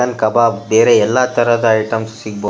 ಅಲ್ ಕಬಾಬ್ ಬೇರೆ ಎಲ್ಲ ರೀತಿಯ ಐಟಂಸ್ ಗಳು ಸಿಗ್ಬ --